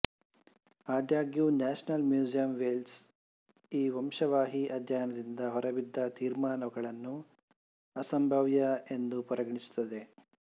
ಆದಾಗ್ಯೂ national museum Wales ಈ ವಂಶವಾಹಿ ಅಧ್ಯಯನದಿಂದ ಹೊರಬಿದ್ದ ತೀರ್ಮಾನಗಳನ್ನು ಅಸಂಭಾವ್ಯ ವೆಂದು ಪರಿಗಣಿಸುತ್ತದೆ